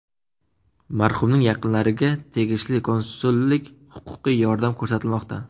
Marhumning yaqinlariga tegishli konsullik-huquqiy yordam ko‘rsatilmoqda.